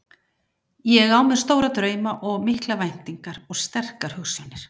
Ég á mér stóra drauma og miklar væntingar og sterkar hugsjónir.